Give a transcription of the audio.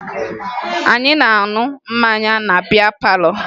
Anyị na-aṅụ mmanya na bịá pálọ̀